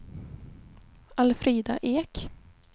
Alfrida Ek